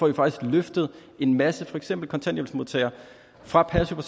vi faktisk har løftet en masse for eksempel kontanthjælpsmodtagere fra passiv